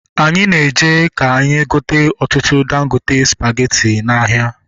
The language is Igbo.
Anyị na-eje ka anyị gote ọtụtụ dangote spageti n'ahịa